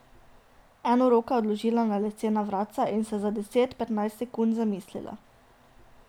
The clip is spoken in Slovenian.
Eno roko je odložila na lesena vratca in se za deset, petnajst sekund zamislila.